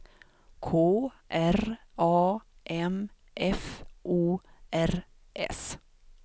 K R A M F O R S